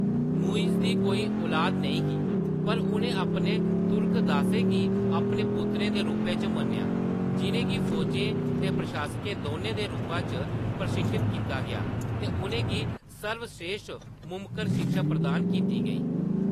मुइज़ दी कोई लुआद नेईं ही पर उʼनें अपने तुर्क दासें गी अपने पुत्तरें दे रूपै च मन्नेआ, जिʼनें गी फौजें ते प्रशासकें दौनें दे रूपा च प्रशिक्षत कीता गेआ ते उʼनें गी सर्वस्रेश्ठ मुमकन शिक्षा प्रदान कीती गेई।